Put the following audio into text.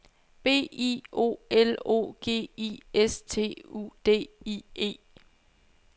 B I O L O G I S T U D I E